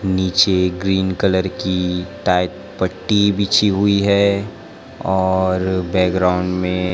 नीचे green colour की tight पट्टी बिछी हुई है और बैकग्राउंड में--